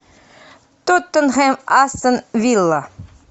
тоттенхэм астон вилла